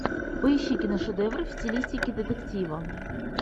поищи киношедевры в стилистике детектива